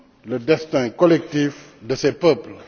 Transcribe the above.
le destin collectif de ses peuples.